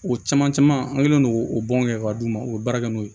O caman caman an kɛlen don k'o o bɔn kɛ ka d'u ma u bɛ baara kɛ n'o ye